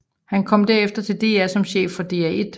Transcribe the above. Han kom derefter til DR som chef for DR1